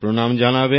আমার প্রণাম জানাবেন